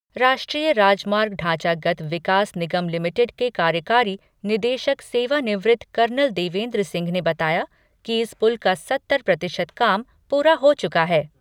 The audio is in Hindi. राष्ट्रीय राजमार्ग ढांचागत विकास निगम लिमिटेड के कार्यकारी निदेशक, सेवानिवृत्त कर्नल देवेन्द्र सिंह ने बताया कि इस पुल का सत्तर प्रतिशत काम पूरा हो चुका है।